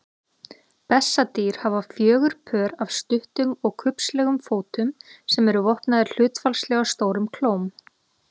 Bessadýr hafa fjögur pör af stuttum og kubbslegum fótum sem eru vopnaðir hlutfallslega stórum klóm.